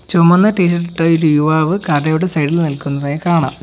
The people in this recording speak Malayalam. ചുമന്ന ടീ ഷർട്ട് ഒര് യുവാവ് കടയുടെ സൈഡിൽ നിൽക്കുന്നതായി കാണാം.